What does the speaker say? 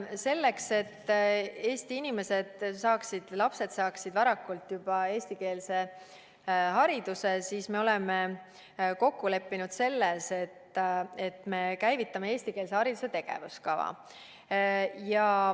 Selleks, et Eesti lapsed saaksid juba varakult eestikeelse hariduse, me oleme kokku leppinud, et me käivitame eestikeelse hariduse tegevuskava.